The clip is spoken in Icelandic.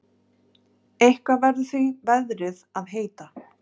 Eitthvað verður því veðrið að heita.